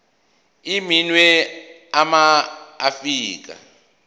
iminwe uma ufika